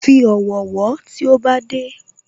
Fi ọ̀wọ̀ wọ́ tí ó bá dé